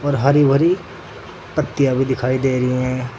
भारी भारी पत्तियां भी दिखाई दे रही हैं।